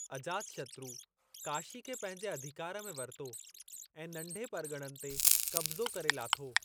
अजातशत्रु काशी खे पंहिंजे अधिकार में वरितो ऐं नंढे परगि॒णनि ते कब्ज़ो करे लाथो।